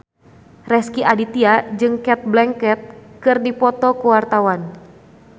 Rezky Aditya jeung Cate Blanchett keur dipoto ku wartawan